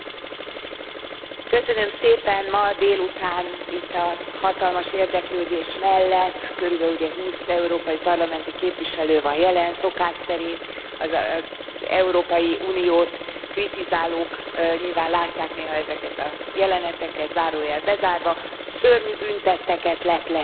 Elnök Úr, ma délután itt a hatalmas érdeklődés mellett körülbelül ugye húsz európai parlamenti képviselő van jelen szokás szerint, az Európai Uniót kritizálók nyilván látják néha ezeket a jeleneteket, zárójel bezárva szörnyű bűntetteket lepleztek itt most le.